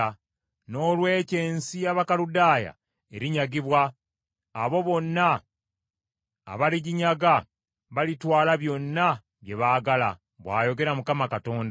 Noolwekyo ensi y’Abakaludaaya erinyagibwa; abo bonna abaliginyaga balitwala byonna bye baagala,” bw’ayogera Mukama Katonda.